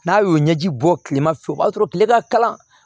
N'a y'o ɲɛji bɔ kilema fɛ o b'a sɔrɔ kile ka kalan